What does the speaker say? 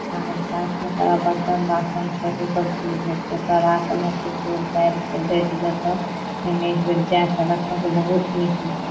आर साथ में तोरा बर्तन बासन से हो सब चीज भेटएते तोरा कुनू किछो भेट जेता इ मे एक बेर जाय के देखा बहुत निक लाग --